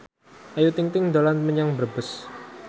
Ayu Ting ting dolan menyang Brebes